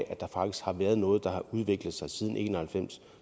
at der faktisk har været noget der har udviklet sig siden nitten en og halvfems